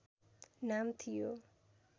नाम थियो